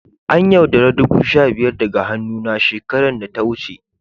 An' yaudara dubu sha biyar daga hannu na shekaran da ta wuce.